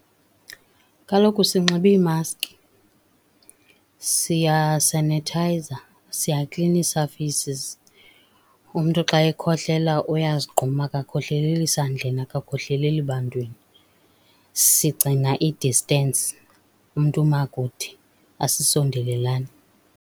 Kaloku sinxiba iimaski, siyasenithayiza siyaklina ii-surfaces. Umntu xa ekhohlela uyazigquma, akakhohleleli sandleni, akakhohleleli bantwini. Sigcina i-distance, umntu uma kude asisondelelani.